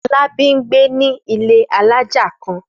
Fọlábí ń gbé ní ilé alájà kan.